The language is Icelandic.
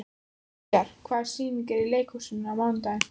Gígjar, hvaða sýningar eru í leikhúsinu á mánudaginn?